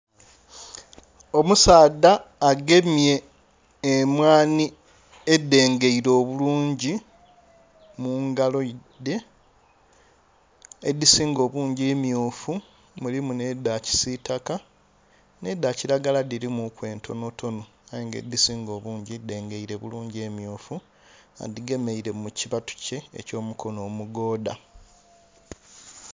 Omusaadha agemye emwani edhengeire obulungi mungalo dhe edhisinga obungi mmyufu mulimu n'edha kisitaka n'edha kiragala dhirimuku entontono aye nga edhisinga obungi dhengeire bulungi emmyufu adhigemeire mukibatu kye ekyo mukono omugoodha.